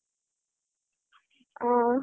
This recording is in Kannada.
ಹ.